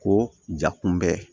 Ko ja kunbɛ